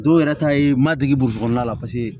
Dɔw yɛrɛ ta ye n ma dege burusi kɔnɔna la